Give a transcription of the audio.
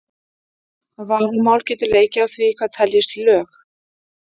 Vafamál getur leikið á því hvað teljist lög.